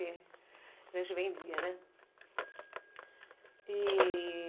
A gente vendia, né? E...